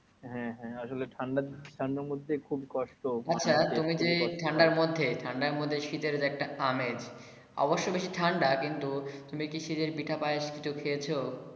হ্যা হ্যা আসলে ঠান্ডার মধ্যে খুব কষ্ট আচ্ছা তোমি যে ঠান্ডার মধ্যে ঠান্ডার মধ্যে শীতের যে একটা আমেজ অবশ্য বেশ ঠান্ডা কিন্তু তুমি কি শীতের পিঠা পায়েস কিছু খেয়েছো।